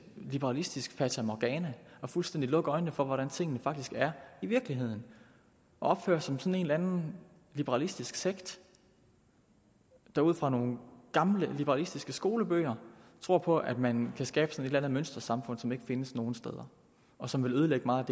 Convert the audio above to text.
liberalistisk fatamorgana og fuldstændig lukke øjnene for hvordan tingene faktisk er i virkeligheden og opføre sig som en eller anden liberalistisk sekt der ud fra nogle gamle liberalistiske skolebøger tror på at man kan skabe et eller andet mønstersamfund som ikke findes nogen steder og som vil ødelægge meget